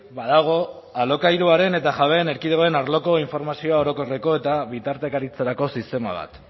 badago alokairuaren eta jabeen erkidegoen arloko informazio orokorreko eta bitartekaritzarako sistema bat